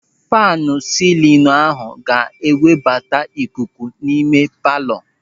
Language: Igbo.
Faanu silinu ahụ ga-ewebata ikuku n'ime palọ.